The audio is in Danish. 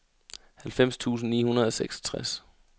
halvfems tusind ni hundrede og seksogtres